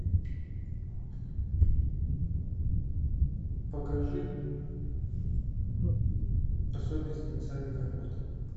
покажи особенности национальной охоты